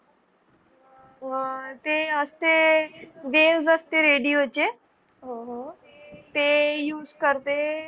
अ ते असते waves असते radio चे ते use करते